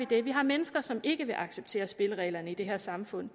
det vi har mennesker som ikke vil acceptere spillereglerne i det her samfund